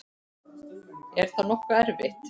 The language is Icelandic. Er það nokkuð erfitt?